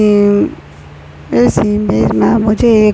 उम्म इस इमेज में मुझे एक--